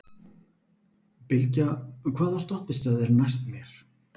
Bylgja, hvaða stoppistöð er næst mér?